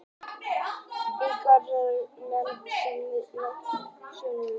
Enn má nefna að almennt teljast menn saklausir uns sekt er sönnuð.